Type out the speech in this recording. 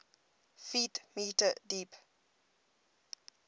ft m deep